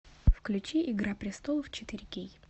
включи игра престолов четыре кей